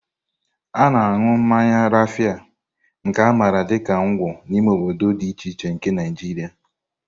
A na-aṅụ mmanya Rafia, nke a maara dị ka Ngwo, n'ime obodo dị iche iche nke Naijiria.